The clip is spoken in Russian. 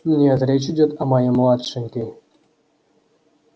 нет речь идёт о моей младшенькой